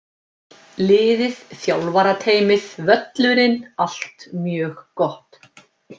Liðið, þjálfarateymið, völlurinn- allt mjög gott!